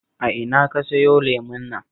A ina ka sayo lemon nan?